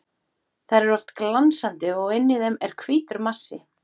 Þær eru oft glansandi og inni í þeim er hvítur massi.